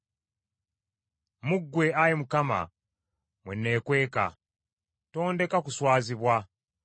Mu ggwe, Ayi Mukama , mwe neekweka, tondeka kuswazibwa.